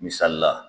Misali la